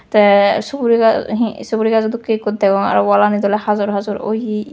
tay suguri ga hee suguri gajo dokken ikko degong aro walanit ole hajor hajor oye.